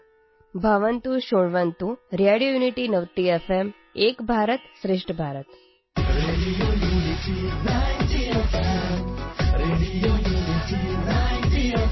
radio unity ninety FM